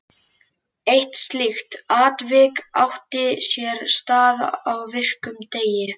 Eitt slíkt atvik átti sér stað á virkum degi.